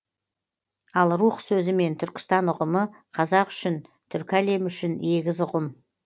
ал рух сөзімен түркістан ұғымы қазақ үшін түркі әлемі үшін егіз ұғым